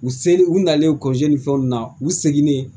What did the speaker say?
U selen u nalen ni fɛn ninnu na u seginnen